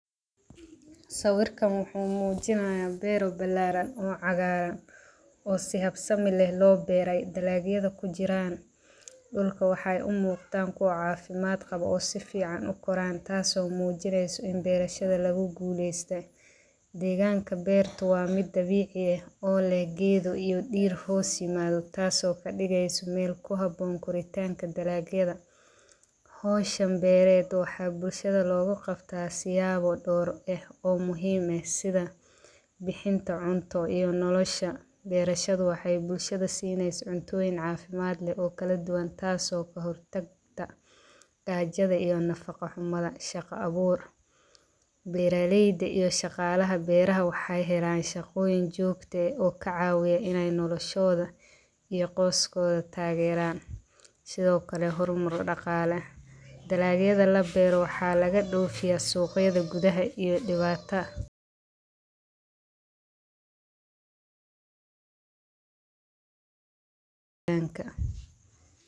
Sawirkan wuxu mujinaya beer oo bilaraan oo cagaran oo si habsan loo beere dalag yadha kujiraan dulka wuxu umuqda ku cafimaad qawo oo saficaan u koraan taaso mujinaysa in beershada laku guleysatay. Deganka beerta waa mid dabici aah oo leeh geedho iyo deer hoos imadho taas oo kadigayso mid kuhaboon koritanka dalagyadha. Hawshan beered waxa bulshada lago gabta siyabo door eeh o muhiim eeh sidha baxinta cunto iyo nolosha beerashadha waxay bulshada sinaysa cuntoyiin cafimaad leeh oo kaladuwaan taas oo kahortag gaajadha iyo nafaqa humdaha shaqa abuur. Beera layda iyo shaqaladha beeraha waxay helaan shaqoyiin joqto eeh oo kacawiya inay nolashooda iyo qooskodha taageran sidhokale hormar daqalo. Dalag yadha labeero waxa laga doofiya sugyadha gudhaha iyo dibata.